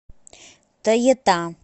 тоета